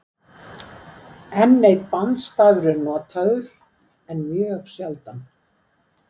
Enn einn bandstafur er notaður en mjög sjaldan.